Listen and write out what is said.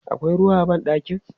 Akwai ruwa a ban ɗakin?